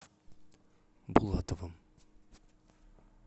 булатовым